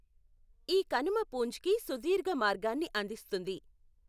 ఈ కనుమ పూంచ్కి సుదీర్ఘ మార్గాన్ని అందిస్తుంది.